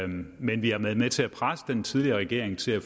men vi har været med til at presse den tidligere regering til at